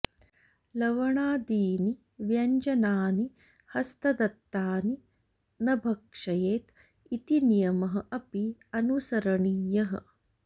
लवणादीनि व्यञ्जनानि हस्तदत्तानि न भक्षयेत् इति नियमः अपि अनुसरणीयः